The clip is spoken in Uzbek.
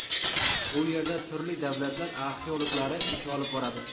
U yerda turli davlatlar arxeologlari ish olib boradi.